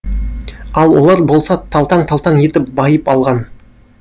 ал олар болса талтаң талтаң етіп байып алған